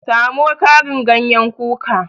Samo Karin ganyen kuka